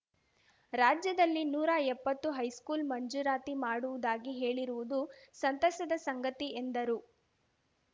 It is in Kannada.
ರಾಜ್ಯದಲ್ಲಿ ನೂರಾ ಎಪ್ಪತ್ತು ಹೈಸ್ಕೂಲ್‌ ಮಂಜೂರಾತಿ ಮಾಡುವುದಾಗಿ ಹೇಳಿರುವುದು ಸಂತಸದ ಸಂಗತಿ ಎಂದರು